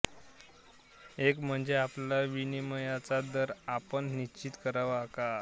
एक म्हणजे आपला विनिमयाचा दर आपण निश्चित करावा का